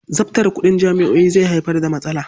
Zabtare kuɗin jami'o'i zai haifar da matsala.